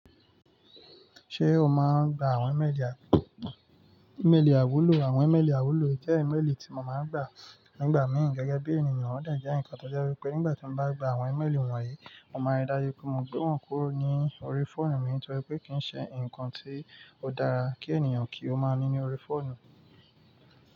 Ṣé o máa ń gba àwọn ìmẹ́ẹ̀lì àiwúlò? Àwọn ìmẹ́ẹ̀lì àiwúlò jẹ́ ìmẹ́ẹ̀lì tí mo máa ń gba nígbà míì gẹ́gẹ́ bí ènìyàn. Wọ́n dẹjẹ nǹkan tó jẹ́ wípé nígbà tí mo bá gba àwọn ìmẹ́ẹ̀lì wọ̀nyí, mo máa rí dájú pé mo gbé wọn kúrò ní orí fóònù mi nítorí pé kì í ṣe ǹkan tí ó dára kí ènìyàn kí ó máa ní ní orí fóònù.